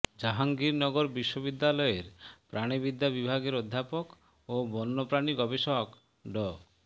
জাহাঙ্গীরনগর বিশ্ববিদ্যালয়ের প্রাণিবিদ্যা বিভাগের অধ্যাপক ও বন্যপ্রাণি গবেষক ড